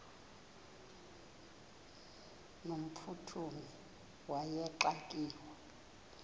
no mphuthumi wayexakiwe